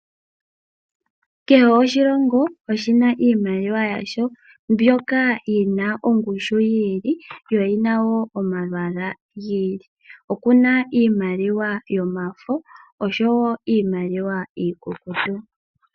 Kehe oshilongo oshi na iimaliwa yasho, mbyoka yi na ongushu yi ili, yo oyi na wo omalwaala gi ili. Opu na iimaliwa yomafo noshowo iimaliwa iikukutu.